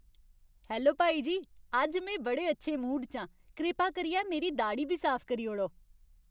Hello भाई जी। अज्ज में बड़े अच्छे मूड च आं। कृपा करियै मेरी दाड़ी बी साफ करी ओड़ो।